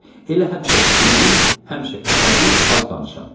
Elə həmişə fikirli, həmişə əsəbi, az danışan.